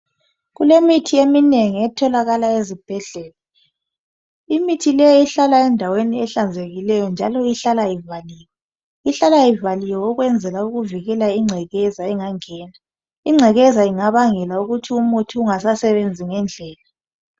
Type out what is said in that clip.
Kulemithi eminengi etholakala ezibhedlela imithi leyi ihlala endaweni ehlanzekileyo njalo ihlala ivaliwe. Ihlala ivaliwe ukwenzela ukuvikela ingcekeza engangena. Ingcekeza ingabangela ukuthi umuthi ungasasebenzi ngendlela.